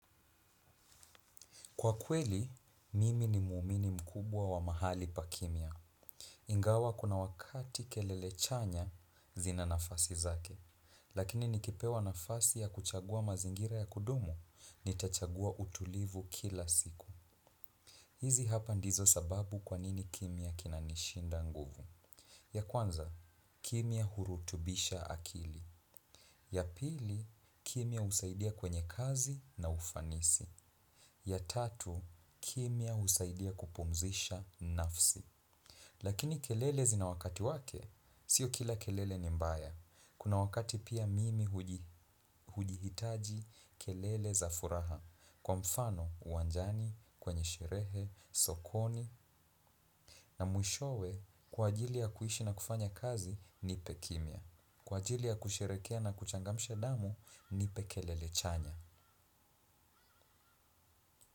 Kwa kweli, mimi ni muumini mkubwa wa mahali pa kimya. Ingawa kuna wakati kelele chanya zina nafasi zake. Lakini nikipewa nafasi ya kuchagua mazingira ya kudumu, nitachagua utulivu kila siku. Hizi hapa ndizo sababu kwanini kimya kinanishinda nguvu. Ya kwanza, kimya hurutubisha akili. Ya pili, kimia usaidia kwenye kazi na ufanisi. Ya tatu, kimya husaidia kupumzisha nafsi. Lakini kelele zina wakati wake, sio kila kelele ni mbaya. Kuna wakati pia hujihijati kelele za furaha. Kwa mfano, uwanjani, kwenye sherehe, sokoni, na mwishowe, kwa ajili ya kuishi na kufanya kazi, nipe kimya. Kwa ajili ya kusherehekea na kuchangamsha damu, nipe kelele chanya.